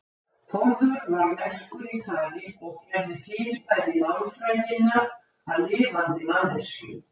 Þórður var merkur í tali og gerði fyrirbæri málfræðinnar að lifandi manneskjum.